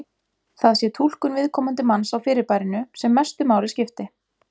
Það sé túlkun viðkomandi manns á fyrirbærinu sem mestu máli skipti.